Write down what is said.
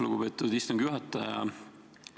Lugupeetud istungi juhataja!